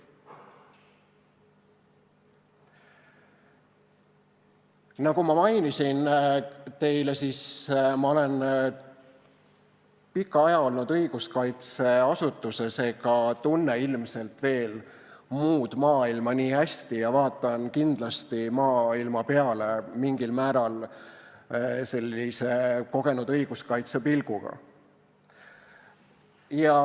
Nagu ma teile mainisin, olen pika aja olnud õiguskaitseasutuses ega tunne ilmselt veel muud maailma nii hästi ja vaatan kindlasti maailma peale mingil määral sellise kogenud õiguskaitsja pilguga.